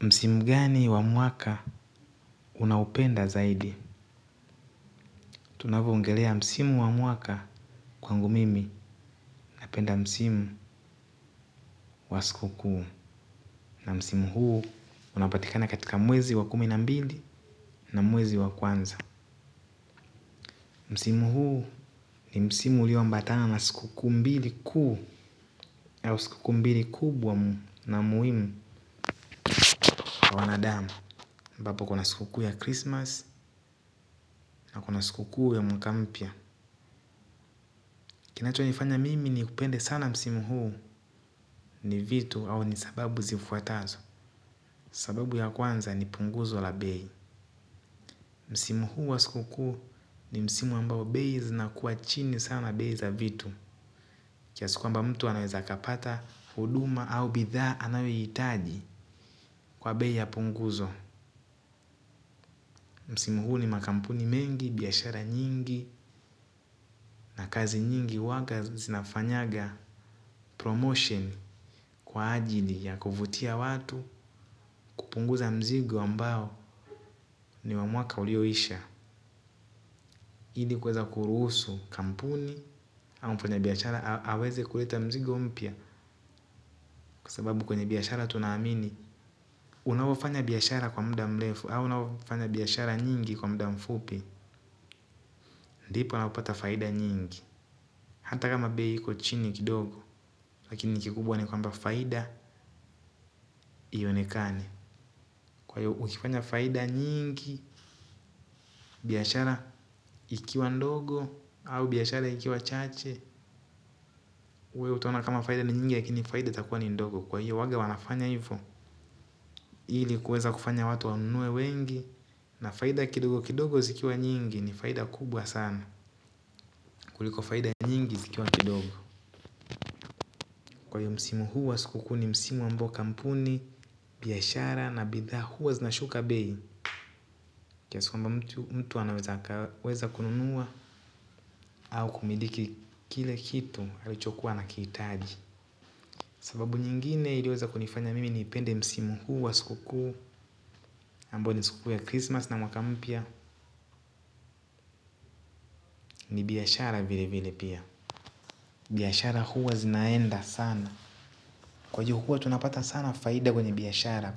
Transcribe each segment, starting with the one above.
Msimu gani wa mwaka unaupenda zaidi? Tunavyoongelea msimu wa mwaka, kwangu mimi napenda msimu wa sikukuu. Na msimu huu unapatikana katika mwezi wa kumi na mbili na mwezi wa kwanza. Msimu huu ni msimu ulioambatana na sikukuu mbili kuu, na muhimu kwa wanadamu. Ambapo kuna sikukuu ya Krismasi na kuna sikukuu ya mwaka mpya. Kinachonifanya mimi nipende sana msimu huu ni vitu au sababu zifuatazo. Sababu ya kwanza ni punguzo la bei. Msimu huu wa sikukuu ni msimu ambao bei zinakuwa chini sana, bei za vitu. Kiasi kwamba mtu anaweza akapata huduma au bidhaa anayoihitaji kwa bei ya punguzo. Msimu huu ni makampuni mengi, biashara nyingi na kazi nyingi huwa zinafanya promotion kwa ajili ya kuwavutia watu. Kupunguza mzigo ambao ni wa mwaka ulioisha. Ili kuweza kuruhusu kampuni au mfanya biashara aweze kuleta mzigo mpya, kwa sababu kwenye biashara tunaamini unavyofanya biashara kwa muda mrefu au unavyofanya biashara nyingi kwa muda mfupi. Ndipo unapata faida nyingi, hata kama bei iko chini kidogo. Lakini kikubwa ni kwamba faida. Ionekane. Kwa hivyo ukifanya faida nyingi, biashara ikiwa ndogo au biashara ikiwa chache. Utaona kama faida ni nyingi ya kuunganisha, faida itakuwa ndogo. Kwa hiyo huwa wanafanya hivyo ili kuweza kufanya watu wanunue wengi, na faida kidogo kidogo zikiwa nyingi ni faida kubwa sana. Kuliko faida nyingi zikiwa kidogo. Kwa hiyo msimu huu wa sikukuu ni msimu ambao kampuni, biashara na bidhaa huwa zinashuka bei, kiasi kwamba mtu anaweza kununua au kumiliki kile kitu alichokuwa anakihitaji. Sababu nyingine iliweza kunifanya mimi nipende msimu huu wa sikukuu, ambao ni sikukuu ya Krismasi na Mwaka Mpya. Ni biashara vilevile pia. Biashara huwa zinaenda sana, kwa hivyo tunaweza kupata faida kubwa kwa biashara.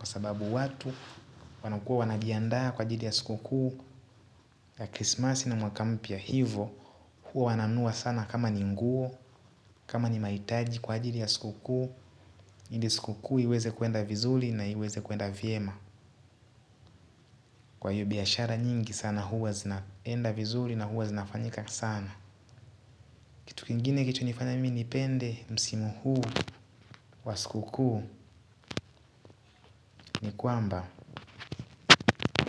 Ya Krismasi na Mwaka Mpya, hivo huwa wananunua sana, kama ni nguo, kama ni mahitaji kwa ajili ya sikukuu, ili sikukuu iweze kwenda vizuri na iweze kwenda vyema. Kwa hiyo biashara nyingi sana huwa zinaenda vizuri na huwa zinafanyika sana. Kitu kingine kilichonifanya mimi nipende msimu huu wa sikukuu ni kwamba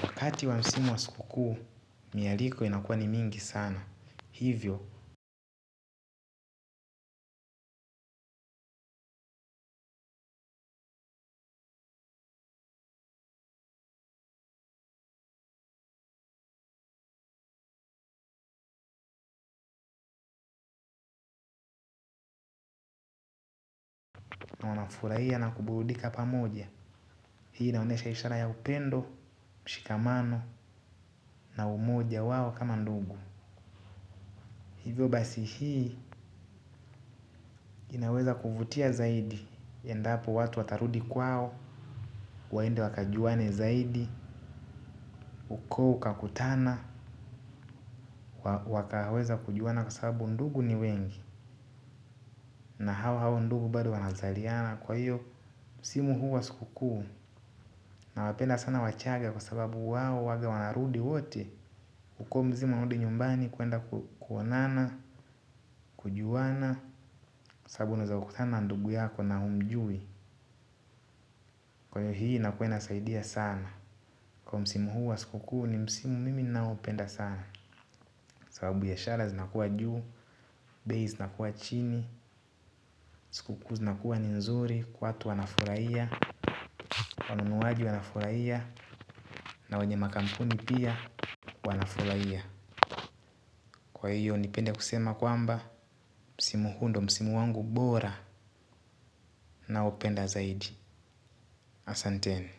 wakati wa msimu wa sikukuu mialiko inakuwa mingi sana. Kwa hivyo. Nakufurahia na kuburudika pamoja. Hii inaonyesha ishara ya upendo, mshikamano na umoja wao kama ndugu. Hivyo basi hii inaweza kuvutia zaidi. Endapo, watu watarudi kwao, waende wakajuane zaidi, ukoo ukakutana. Wakaweza kujuana kwa sababu ndugu ni wengi, na hawa hawa ndugu bado wanazaliana, kwa hiyo msimu wa sikukuu. Nawapenda sana Wachaga kwa sababu wao huwa wanarudi wote. Ukiwa mzima, rudi nyumbani kwenda kuonana na kujuana, kwa sababu unaweza kukutana na ndugu yako na humjui. Kwa hiyo hiyo inakuwa inasaidia sana. Kuwa msimu huu wa sikukuu ni msimu ninaoupenda sana, kwa sababu biashara zinakuwa juu, bei zinakuwa chini. Sikukuu zinakuwa ni nzuri, watu wanafurahia, wanunuaji wanafurahia na wenye makampuni pia wanafurahia. Kwa hiyo nipende kusema kwamba msimu huu ndiyo, msimu wangu bora. Naupenda zaidi. Asanteni.